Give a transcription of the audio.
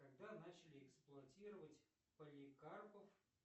когда начали эксплуатировать поликарпов